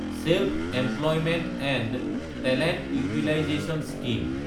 self-employment and talent utilisation scheme